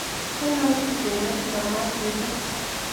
Ainon surkwen netindoo maat miising'